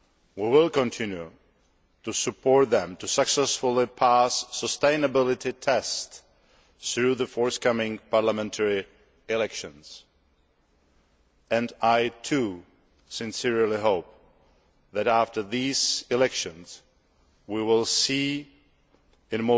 We will continue to support them to successfully pass sustainability tests through the forthcoming parliamentary elections. I too sincerely hope that after these elections we will see